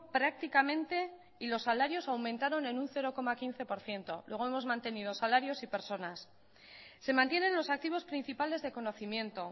prácticamente y los salarios aumentaron en un cero coma quince por ciento luego hemos mantenido salarios y personas se mantienen los activos principales de conocimiento